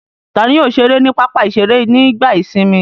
Ta ni yóò ṣeré ní pápá-ìṣeré nígbà ìsìnmi?